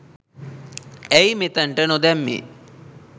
ඇයි මෙතනට නොදැම්මෙ